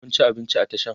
Kun ci abinci a Tashan?